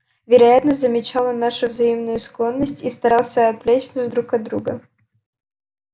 вероятно замечала нашу взаимную склонность и старался отвлечь нас друг от друга